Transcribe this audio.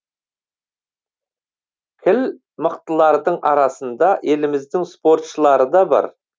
кіл мықтылардың арасында еліміздің спортшылары да бар